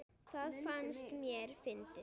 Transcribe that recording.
Það fannst mér fyndið.